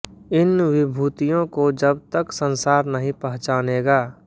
इन विभूतियों को जब तक संसार नहीं पहचानेगा